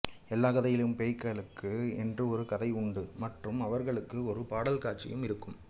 எல்லா கதையிலும் பேய்களுக்கு என்று ஒரு கதை உண்டு மற்றும் அவர்களுக்கும் ஒரு பாடல் காட்சிகள் இருக்கும்